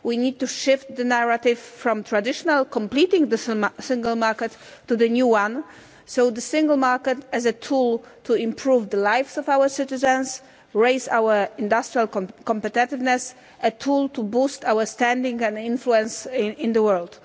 We need to shift the narrative from the traditional completing the Single Market to the new one the Single Market as a tool to improve the lives of our citizens, raise our industrial competitiveness, to boost our standing and influence in the world.